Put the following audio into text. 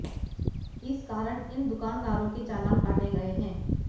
इस कारण इन दुकानदारों के चालान काटे गए हैं